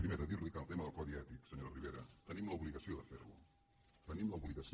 primera dir·li que el tema del codi ètic senyora ribera tenim l’obligació de fer·lo en tenim l’obligació